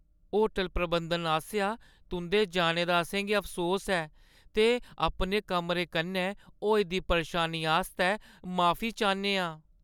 Hotel प्रबंधन आसेआ, तुं'दे जाने दा असें गी अफसोस ऐ ते अपने कमरे कन्नै होई दी परेशानी आस्तै माफी चाह्‌न्ने आं ।